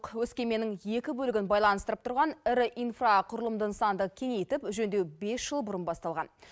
өскеменнің екі бөлігін байланыстырып тұрған ірі инфрақұрылымды нысанды кеңейтіп жөндеу бес жыл бұрын басталған